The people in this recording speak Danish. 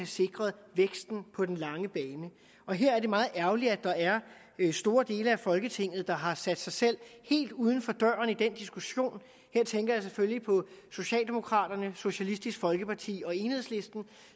sikret væksten på den lange bane og her er det meget ærgerligt at der er store dele af folketinget der har sat sig selv helt uden for døren i den diskussion her tænker jeg selvfølgelig på socialdemokraterne socialistisk folkeparti og enhedslisten